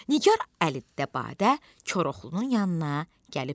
Nigar əldə badə Koroğlunun yanına gəlib dedi: